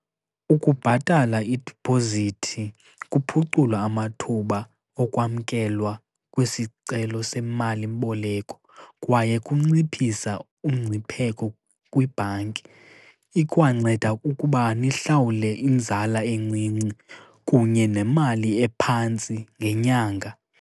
Ukubhatala idiphozithi kuphucula amathuba okwamkelwa kwesicelo semalimboleko kwaye kunciphisa umngcipheko kwibhanki. Ikwanceda kukuba nihlawule inzala encinci kunye nemali ephantsi ngenyanga.